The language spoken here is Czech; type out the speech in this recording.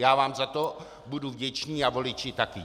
Já vám za to budu vděčný a voliči také.